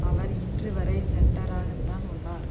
அவர் இன்று வரை சென்ட்டராக உள்ளார்